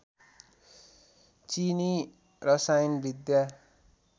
चीनी रसायनविद्या